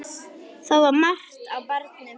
Það var margt á barnum.